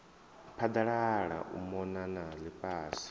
phaḓalala u mona na ḽifhasi